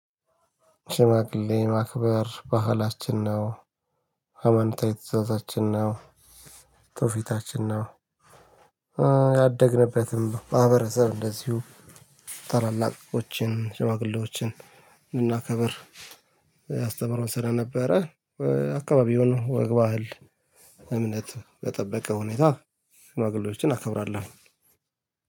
ሽማግሌ ማክበር ባህላችን ነው። ሃይማኖታዊ ትዕዛዛችን ነው። ትውፊታችን ነው። ያደግንበትም ማህበረሰብ እንደዚሁ ታላላቆችን ሽማግሌዎችን እናከብር ያስተምረናል ስለነበረ። አካባቢውን በል ወግ ባህል እምነት በጠበቀ ሁኔታ ሽማግሌዎችን አከብራለሁ።